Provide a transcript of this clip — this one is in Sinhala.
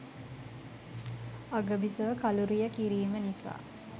අගබිසව කළුරිය කිරීම නිසා